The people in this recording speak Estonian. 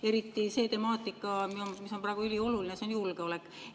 Eriti see temaatika, mis on praegu ülioluline, ehk siis julgeolek.